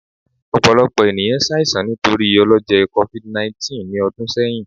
Ọpọlọpọ eniyan ṣaisan nitori ọlọjẹ covid19 ni ọdun sẹyin